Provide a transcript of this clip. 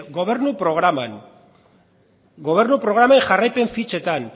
gobernu programan gobernu programen jarraipen fitxetan